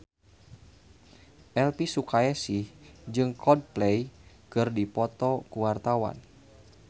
Elvy Sukaesih jeung Coldplay keur dipoto ku wartawan